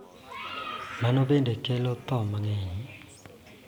Mano bende kelo tho mang�eny.